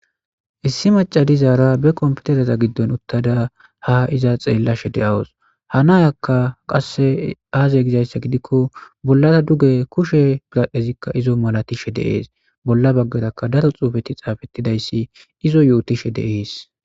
Issi macadizaara be komputereza giddon uttada ha iza xeellashe de'awus hanayakka qasse aaze gizayssa gidikko bollara duge kushe gigadhezikka izo malatishe deees bolla baggarakka daro xuufeti xaafettidayssi izo yu'utishe deees.